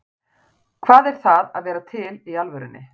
Hvað er það að vera til í alvörunni?